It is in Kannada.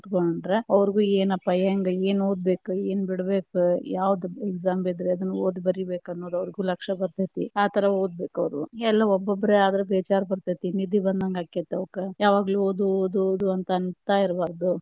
ಕೂತಕೊಂಡ್ರ ಅವ್ರಿಗೂ ಏನಪ್ಪಾ ಹೆಂಗ ಏನ ಓದಬೇಕ ಏನ ಬಿಡಬೇಕ ಯಾವದ exam ಇದ್ರ ಎದನ್ನ ಓದಬೇಕ ಬರಿಬೇಕ ಅನ್ನೋದು ಅವ್ರ್ಗು ಲಕ್ಷ್ಯ ಬರ್ತೇತಿ, ಆತರ ಒದ್ ಬೇಕು ಅವ್ರ, ಎಲ್ಲಾ ಒಬ್ಬೊಬ್ಬರೇ ಆದ್ರ ಬೇಜಾರ ಬರ್ತೇತಿ ನಿದ್ದಿ ಬಂದಂಗ ಆಕ್ಕೆತಿ ಅವಕ್ಕ. ಯಾವಾಗ್ಲೂ ಓದು ಓದು ಓದು ಅಂತಾ ಇರ್ಬಾರ್ದು.